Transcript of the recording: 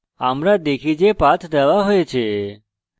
আমরা দেখি যে path দেওয়া হয়েছে